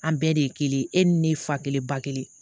An bɛɛ de ye kelen ye e ni ne fa kelen ba kelen